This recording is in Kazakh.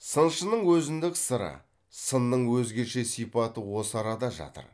сыншының өзіндік сыры сынның өзгеше сипаты осы арада жатыр